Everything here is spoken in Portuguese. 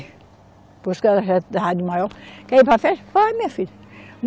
Depois que ela já estava de maior, quer ir para a festa, vai minha filha.